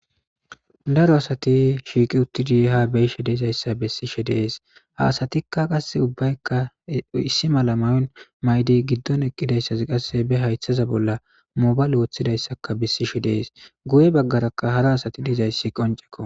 Dara asati shiiqi uttidi ha beyishe dizaysa bessishe dees. Ha asatika qasse ubbayka issi mala mayo mayida. Giddon eqqida addezi qasse be haythen mobale wothidaysa besishe dees. Guye baggaraka hara asati dizaysi qonceko.